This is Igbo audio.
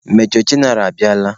Major jeneral abịala.